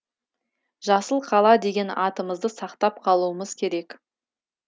жасыл қала деген атымызды сақтап қалуымыз керек